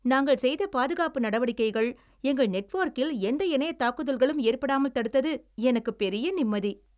நாங்கள் செய்த பாதுகாப்பு நடவடிக்கைகள், எங்கள் நெட்வொர்க்கில் எந்த இணையத் தாக்குதல்களும் ஏற்படாமல் தடுத்தது எனக்கு பெரிய நிம்மதி.